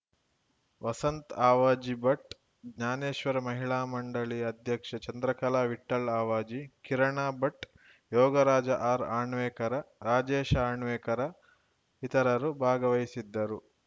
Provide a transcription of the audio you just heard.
ವಸಂತ್‌ ಅವಾಜಿ ಭಟ್‌ ಜ್ಞಾನೇಶ್ವರ ಮಹಿಳಾ ಮಂಡಳಿಯ ಅಧ್ಯಕ್ಷೆ ಚಂದ್ರಕಲಾ ವಿಠ್ಠಲ್‌ ಅವಾಜಿ ಕಿರಣ ಭಟ್‌ ಯೋಗರಾ ಜ ಆರ್‌ಅಣ್ವೇಕರ್‌ ರಾಜೇಶ ಅಣ್ವೇಕರ ಇತರರು ಭಾಗವಹಿಸಿದ್ದರು